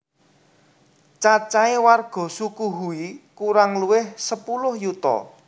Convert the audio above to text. Cacahe warga suku Hui kurang luwih sepuluh yuta